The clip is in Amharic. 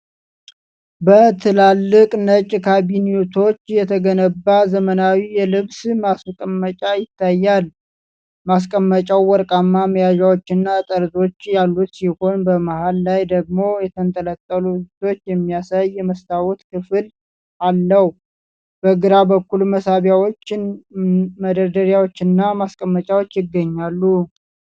በትላልቅ ነጭ ካቢኔቶች የተገነባ ዘመናዊ የልብስ ማስቀመጫ ይታያል። ማስቀመጫው ወርቃማ መያዣዎችና ጠርዞች ያሉት ሲሆን፣ በመሃል ላይ ደግሞ የተንጠለጠሉ ልብሶችን የሚያሳይ የመስታወት ክፍል አለው። በግራ በኩል መሳቢያዎች፣ መደርደሪያዎችና ማስቀመጫዎች ይገኛሉ።